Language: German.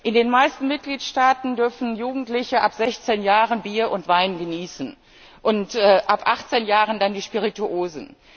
In den meisten Mitgliedstaaten dürfen Jugendliche ab 16 Jahren Bier und Wein genießen und ab 18 Jahren dann die Spirituosen.